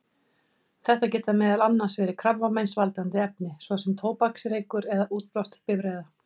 Þetta geta meðal annars verið krabbameinsvaldandi efni, svo sem tóbaksreykur eða útblástur bifreiða.